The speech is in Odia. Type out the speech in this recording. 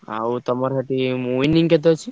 ଆଉ ତମର winning କେତେ ଅଛି ?